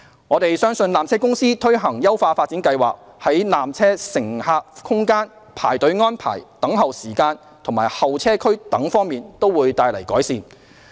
我們相信纜車公司推行優化發展計劃，在纜車乘客空間、排隊安排、等候時間及候車區等方面都可帶來改善。